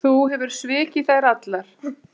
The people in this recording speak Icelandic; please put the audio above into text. Þú hefur svikið þær allar.